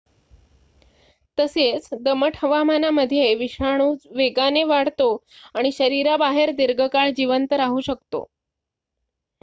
तसेच दमट हवामानामध्ये विषाणू वेगाने वाढतो आणि शरीराबाहेर दीर्घकाळ जिवंत राहू शकतो